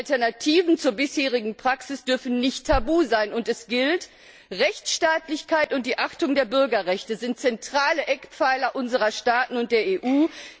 Alternativen zur bisherigen Praxis dürfen nicht tabu sein, und es gilt Rechtsstaatlichkeit und die Achtung der Bürgerrechte sind zentrale Eckpfeiler unserer Staaten und der EU.